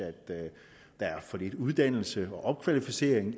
der er for lidt uddannelse og opkvalificering